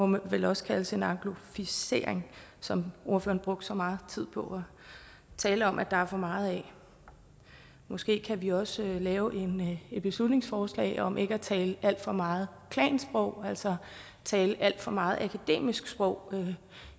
må vel også kaldes en angloficering som ordføreren brugte så meget tid på at tale om at der er for meget af måske kan vi også lave et beslutningsforslag om ikke at tale alt for meget klansprog altså tale alt for meget akademisk sprog